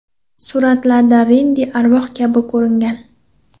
Suratlarda Rendi arvoh kabi ko‘ringan.